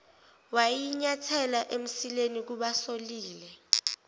wayinyathela emsileni kubasolile